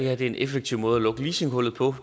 er en effektiv måde lukke leasinghullet på